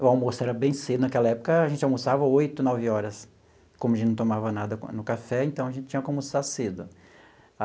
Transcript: O almoço era bem cedo, naquela época a gente almoçava oito, nove horas, como a gente não tomava nada no no café, então a gente tinha que almoçar cedo.